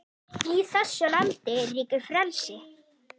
Í þessu landi ríkir frelsi!